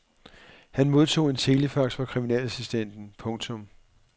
Han odtog en telefax fra kriminalassistenten. punktum